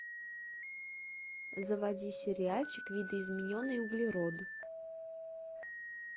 заводи сериальчик видоизмененный углерод